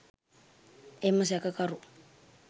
එම සැකකරු